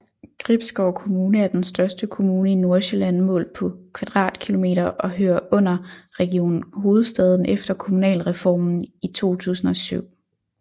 Gribskov Kommune er den største kommune i Nordsjælland målt på km² og hører under Region Hovedstaden efter Kommunalreformen i 2007